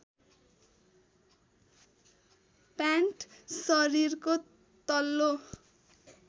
pant शरीरको तल्लो